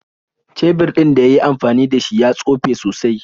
Shebir ɗin da yi yi amfani da shi ya tsufe sosai.